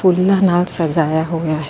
ਫੁੱਲਾਂ ਨਾਲ ਸਜਾਇਆ ਹੋਇਆ ਹੈ।